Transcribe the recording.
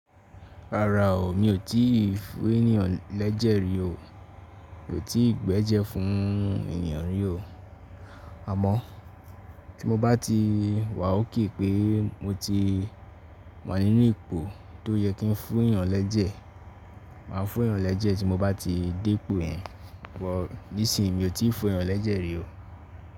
Rárá o, mi ò tí ì fún ènìyàn lẹ́jẹ̀ rí o. Mi ò tí ì gbẹ́jẹ́ fún ènìyàn rí o. Àmọ́ tí mo bá ti wà ókè pé mo ti wà nínú ipò tó yẹ kí n fún èyàn lẹ́jẹ̀, mà á fún èyàn lẹ́jẹ̀ tí mo bá ti dé ipò ẹ. But níìsín, mi ò tí ì fún eeyan lẹ́jẹ̀ rí o.